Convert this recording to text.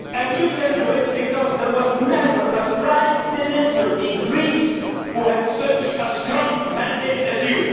in that way. You can do it because there has never been a Prime Minister in Greece who had such a strong mandate